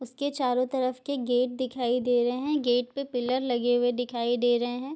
उसके चारो तरफ के गेट दिखाई दे रहे है गेट पे पिलर लगे हुए दिखाई दे रहे है।